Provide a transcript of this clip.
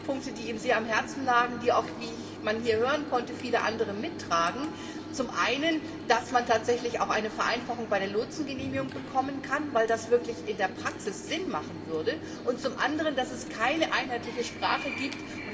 Zwei Punkte, die ihm sehr am Herzen lagen, die, wie man hier hören konnte, auch viele andere mittragen, sind zum einen, dass man tatsächlich auch eine Vereinfachung bei der Lotsengenehmigung erreichen sollte, weil das in der Praxis wirklich Sinn machen würde, und zum anderen, dass es keine einheitliche Sprache gibt.